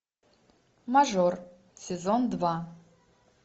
мажор сезон два